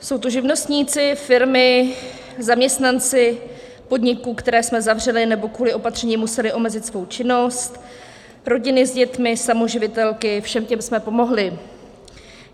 Jsou to živnostníci, firmy, zaměstnanci podniků, které jsme zavřeli nebo kvůli opatřením musely omezit svou činnost, rodiny s dětmi, samoživitelky - všem těm jsme pomohli.